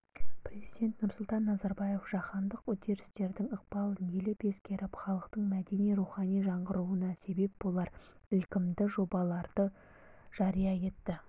президент нұрсұлтан назарбаев жаһандық үдерістердің ықпалын елеп-ескеріп халықтың мәдени-рухани жаңғыруына сеп болар ілкімді жобаларды жария етті